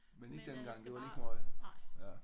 Men ikke dengang. Det var lige meget?